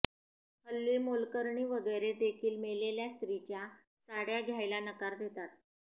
हल्ली मोलकरणी वगैरे देखील मेलेल्या स्त्रीच्या साडय़ा घ्यायला नकार देतात